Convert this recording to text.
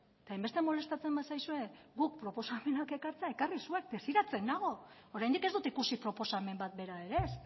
eta hainbeste molestatzen bazaizue guk proposamenak ekartzea ekarri zuek desiratzen nago oraindik ez dut ikusi proposamen bat bera ere ez